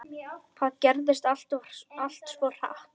Það gerðist allt svo hratt.